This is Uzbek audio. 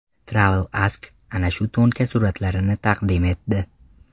TravelAsk ana shu to‘nka suratlarini taqdim etdi .